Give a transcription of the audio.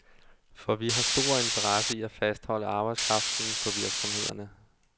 For vi har stor interesse i at fastholde arbejdskraften på virksomhederne.